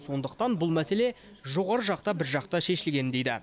сондықтан бұл мәселе жоғары жақта біржақты шешілген дейді